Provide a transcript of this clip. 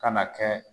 Ka na kɛ